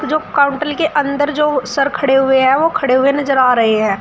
जो काउंटर के अंदर जो सर खड़े हुए हैं वो खड़े हुए नजर आ रहे हैं।